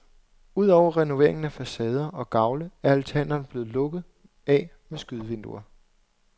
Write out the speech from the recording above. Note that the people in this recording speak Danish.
Ud over renoveringen af facader og gavle er altanerne blevet lukket af med skydevinduer.